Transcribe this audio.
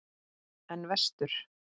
En vestur?